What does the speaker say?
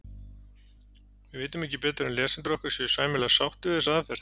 Við vitum ekki betur en lesendur okkar séu sæmilega sáttir við þessa aðferð.